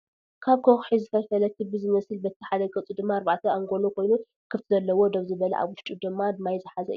ካብ ኩሒ ዝፈልፈለ ኪቢ ዝመስል በቲ ሓደ ገፁ ድማ ኣርባዕተ ኣንጎሎ ኮይኑ ክፍቲ ዘለዎ ደው ዝበለ ኣብ ውሽጡ ድማ ማይ ዝሓዘ እዩ።